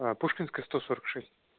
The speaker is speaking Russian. а пушкинская сто сорок шесть